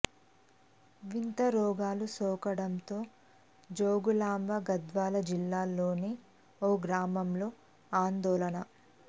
వింత రోగాలు సోకడంతో జోగులాంబ గద్వాల జిల్లాలోని ఓ గ్రామంలో ఆందోళన